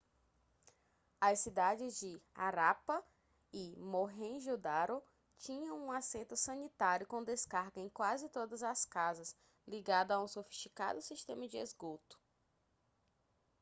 as cidades de harappa e mohenjo-daro tinham um assento sanitário com descarga em quase todas as casas ligado a um sofisticado sistema de esgoto